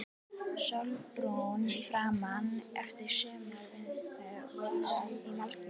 Sólbrúnn í framan eftir sumarvinnu í malbiki.